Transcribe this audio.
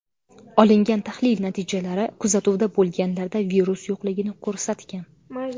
Olingan tahlil natijalari kuzatuvda bo‘lganlarda virus yo‘qligini ko‘rsatgan.